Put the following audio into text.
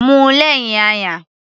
Mu ú lẹ́hìn ayan.